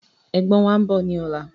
Ẹ̀gbọ́n wàá ń bọ̀ ni ọ̀la